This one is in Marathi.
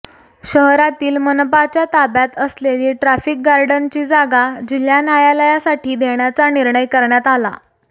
शहरातील मनपाच्या ताब्यात असलेली ट्राफिक गार्डनची जागा जिल्हा नायालयासाठी देण्याचा निर्णय करण्यात आला